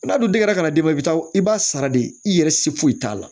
N'a dun den yɛrɛ ka na d'i ma i bi taa i b'a sara de i yɛrɛ se foyi t'a la